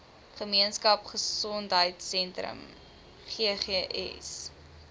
gemeenskap gesondheidsentrum ggs